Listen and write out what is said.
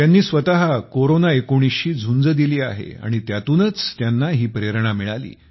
त्यांनी स्वतः कोरोना19 शी झुंज दिली आहे आणि त्यातूनच त्यांना ही प्रेरणा मिळाली